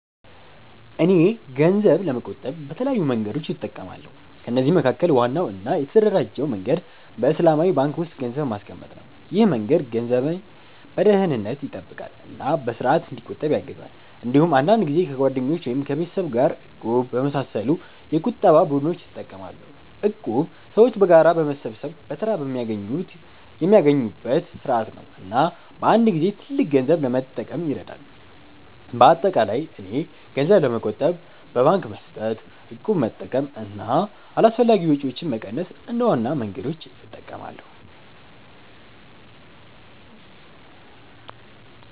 እኔ ገንዘብ ለመቆጠብ በተለያዩ መንገዶች እጠቀማለሁ። ከነዚህ መካከል ዋናው እና የተደራጀው መንገድ በእስላማዊ ባንክ ውስጥ ገንዘብ ማስቀመጥ ነው። ይህ መንገድ ገንዘቤን በደህንነት ይጠብቃል እና በስርዓት እንዲቆጠብ ያግዛል። እንዲሁም አንዳንድ ጊዜ ከጓደኞች ወይም ከቤተሰብ ጋር “እቁብ” በመሳሰሉ የቁጠባ ቡድኖች እጠቀማለሁ። እቁብ ሰዎች በጋራ ገንዘብ በመሰብሰብ በተራ የሚያገኙበት ስርዓት ነው እና በአንድ ጊዜ ትልቅ ገንዘብ ለመጠቀም ይረዳል። በአጠቃላይ እኔ ገንዘብ ለመቆጠብ በባንክ መስጠት፣ እቁብ መጠቀም እና አላስፈላጊ ወጪዎችን መቀነስ እንደ ዋና መንገዶች እጠቀማለሁ።